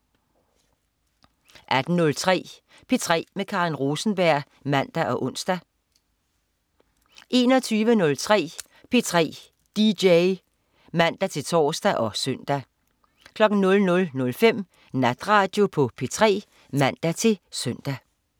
18.03 P3 med Karen Rosenberg (man-ons) 21.03 P3 dj (man-tors og søn) 00.05 Natradio på P3 (man-søn)